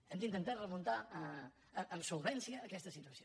hem d’intentar remuntar amb solvència aquesta situació